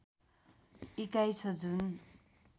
इकाई छ जुन